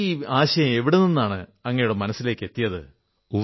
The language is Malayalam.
ഈ സങ്കല്പം എവിടെനിന്നാണ് അങ്ങയുടെ മനസ്സിലേക്കെത്തിയത്